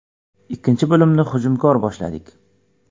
Ikkinchi bo‘limni hujumkor boshladik.